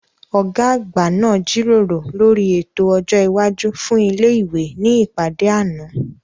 Ọ̀gá àgbà náà jíròrò lórí ètò ọjọ́ iwájú fún ilé ìwé ní ìpàdé àná